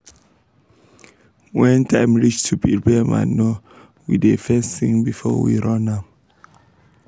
when time reach to prepare manure we da fes sing before we run am